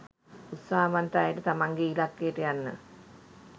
උත්සාහවන්ත අයට තමන්ගේ ඉලක්කයට යන්න